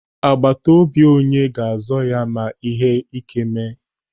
Agbatobi onye ga-azọ ya ma ihe ị́ké mee.